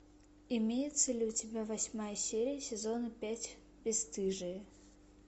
имеется ли у тебя восьмая серия сезона пять бесстыжие